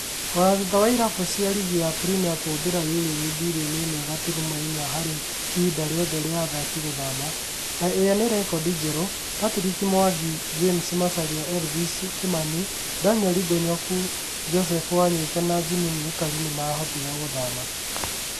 Ona thutha wa irabu cia rigi ya Premia kũhũthĩra yurũ mbirioni ĩmwe gaturuma inya hari ihinda rĩothe rĩa athaki gũthama- na ĩrĩa nĩ rekodi njerũ - Partick Mwangi, James Macharia, Elvis Kimani , Daniel Ngonyoku , Joseph Wanyoike na Jimmy Mwikali matiahotire gũthama